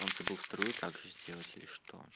он забыл вторую также сделать или что